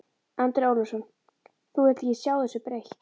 Andri Ólafsson: Þú vilt ekki sjá þessu breytt?